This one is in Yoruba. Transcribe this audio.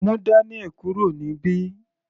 Mú Daniel kúrò níbí.